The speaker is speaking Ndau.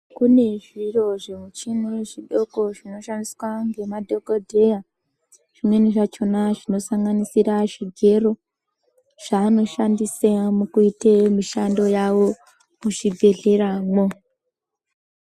Kune zviro zvimuchini zvidoko zvinoshandiswa ngemadhokodheya. Zvimweni zvachona zvinosanganisira zvigero, zvaanoshandisa mukuite mishando yavo muzvibhehleramwo.